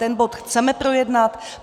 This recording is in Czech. Ten bod chceme projednat.